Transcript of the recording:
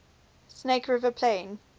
snake river plain